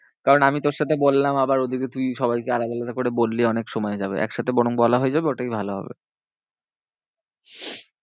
কারণ আমি তোর সাথে বললাম আবার ওদিকে তুই সবাইকে আলাদা আলাদা করে বললি অনেক সময় যাবে। একসাথে বরং বলা হয়ে যাবে ওটাই ভালো হবে।